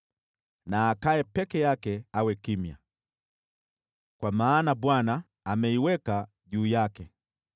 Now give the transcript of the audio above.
Na akae peke yake awe kimya, kwa maana Bwana ameiweka juu yake.